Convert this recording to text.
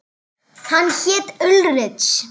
Hann hét Ulrich.